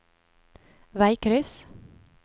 veikryss